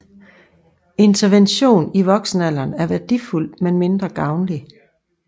Intervention i voksenalderen er værdifuld men mindre gavnlig